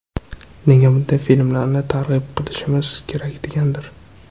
Nega bunday filmlarni targ‘ib qilishimiz kerak degandir.